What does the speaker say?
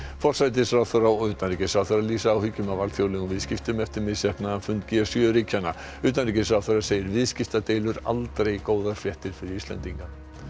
forsætisráðherra og utanríkisráðherra lýsa áhyggjum af alþjóðlegum viðskiptum eftir misheppnaðan fund g sjö ríkjanna utanríkisráðherra segir viðskiptadeilur aldrei góðar fréttir fyrir Íslendinga